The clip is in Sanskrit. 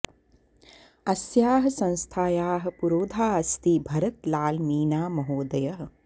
अस्याः संस्थायाः पुरोधा अस्ति भरत् लाल् मीना महोदयः